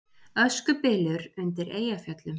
Öskubylur undir Eyjafjöllum